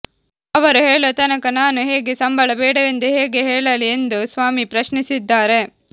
ಅವರು ಹೇಳೋ ತನಕ ನಾನು ಹೇಗೆ ಸಂಬಳ ಬೇಡವೆಂದು ಹೇಗೆ ಹೇಳಲಿ ಎಂದು ಸ್ವಾಮಿ ಪ್ರಶ್ನಿಸಿದ್ದಾರೆ